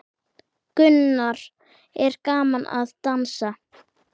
Gunnar: Er gaman að dansa?